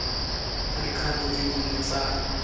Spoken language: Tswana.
ka dikgato tse dingwe tsa